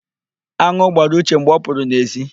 An̄ụ gbara Uche mgbe ọ pụrụ n'èzí.